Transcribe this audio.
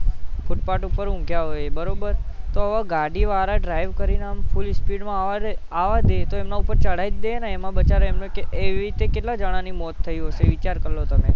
footpath ઉપર ઊંઘ્યાં હોય એ બરોબર તો હવે ગાડી વાળા drive કરીને આમ full speed માં આવવા દે, આવવા દે તો એમના ઉપર ચઢાઈ જ દેને એમાં બચારા એમનો કઈ, એવી રીતે કેટલા જણાની મોત થઇ હશે વિચાર કરી લો તમે